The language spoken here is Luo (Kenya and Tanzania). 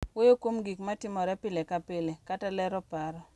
Wuoyo kuom gik ma timore pile ka pile, kata lero paro